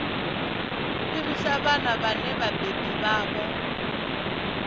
fhirisa vhana vhane vhabebi vhavho